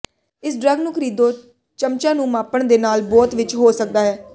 ਇਸ ਡਰੱਗ ਨੂੰ ਖਰੀਦੋ ਚਮਚਾ ਨੂੰ ਮਾਪਣ ਦੇ ਨਾਲ ਬੋਤ ਵਿੱਚ ਹੋ ਸਕਦਾ ਹੈ